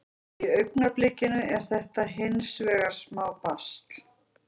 Í augnablikinu er þetta hins vegar smá basl.